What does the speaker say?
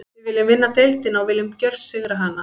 Við viljum vinna deildina og við viljum gjörsigra hana.